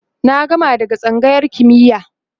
na gama daga tsangayar kimiya